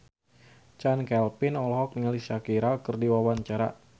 Chand Kelvin olohok ningali Shakira keur diwawancara